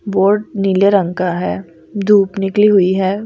Board नीले रंग का है धूप निकली हुई है।